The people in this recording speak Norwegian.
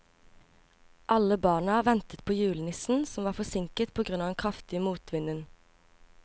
Alle barna ventet på julenissen, som var forsinket på grunn av den kraftige motvinden.